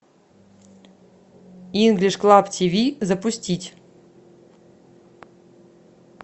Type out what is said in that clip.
инглиш клаб тв запустить